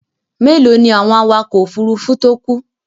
Mélòó ni àwọn awakọ̀ òfurufú tó kú?